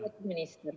Tere-tere!